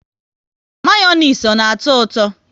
Mayonezi ọ na atọ ụtọ?